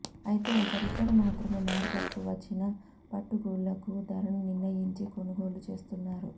అయితే ఒకరిద్దరు మాత్రమే మార్కెట్కు వచ్చిన పట్టుగూళ్లకు ధరను నిర్ణయించి కొనుగోళ్లు చేస్తున్నారు